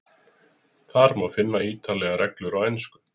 Þar má finna ítarlegar reglur á ensku.